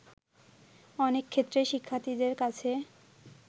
অনেক ক্ষেত্রেই শিক্ষার্থীদের কাছে